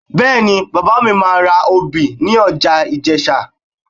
Bẹ́ẹ̀ni, bàbá mi máa obì ní ọjà Ìjẹ̀sà